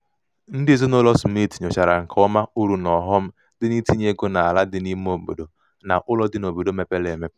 ndị ezinaụlọ smith nyochara nke ọma uru na ọghọm dị n'itinye ego n'ala dị n'ime obodo na ụlọ dị n'obodo mepere emepe.